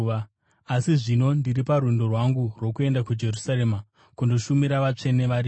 Asi, zvino ndiri parwendo rwangu rwokuenda kuJerusarema kundoshumira vatsvene variko.